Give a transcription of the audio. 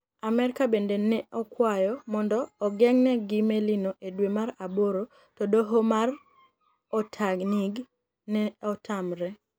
Amerka benide ni e okwayo monido ogenig' melino e dwe mar aboro, to doho mag Otanig ni e otamore.